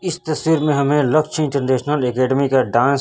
इस तस्वीर में हमें लक्ष्य इंटरनेशनल एकेडमी का डांस --